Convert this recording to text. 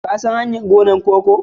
Kun san hanyar gonar koko?